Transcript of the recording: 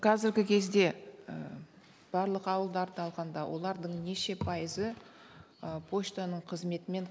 қазіргі кезде і барлық ауылдарды алғанда олардың неше пайызы ы поштаның қызметімен